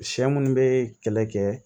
Sɛ minnu bɛ kɛlɛ kɛ